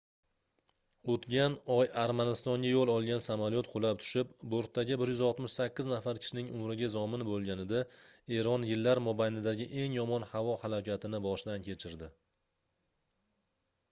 oʻtgan oy armanistonga yoʻl olgan samolyot qulab tushib bortdagi 168 nafar kishining umriga zomin boʻlganida eron yillar mobaynidagi eng yomon havo halokatini boshdan kechirdi